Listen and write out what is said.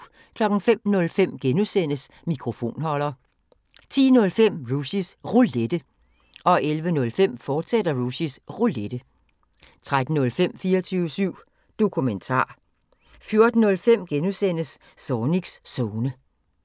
05:05: Mikrofonholder * 10:05: Rushys Roulette 11:05: Rushys Roulette, fortsat 13:05: 24syv Dokumentar 14:05: Zornigs Zone *